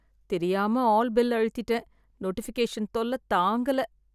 தெரியாம all bell அழுத்திட்டேன், notification தொல்ல தாங்கல